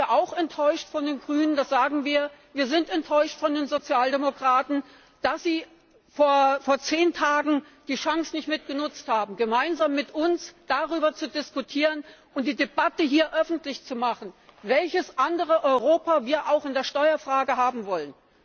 Und da sind wir auch enttäuscht von den Grünen, das sagen wir auch, wir sind enttäuscht von den Sozialdemokraten, dass sie vor zehn Tagen nicht die Chance genutzt haben, gemeinsam mit uns darüber zu diskutieren und die Debatte hier öffentlich zu machen, welches andere Europa wir in der Steuerfrage haben wollen.